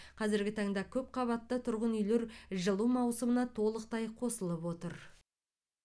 қазіргі таңда көпқабатты тұрғын үйлер жылу маусымына толықтай қосылып отыр